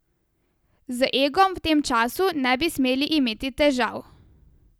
Z egom v tem času ne bi smeli imeti težav.